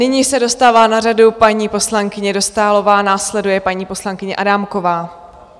Nyní se dostává na řadu paní poslankyně Dostálová, následuje paní poslankyně Adámková.